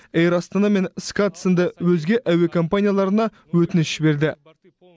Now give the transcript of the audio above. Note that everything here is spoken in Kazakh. эйр астана мен скат сынды өзге әуе компанияларына өтініш жіберді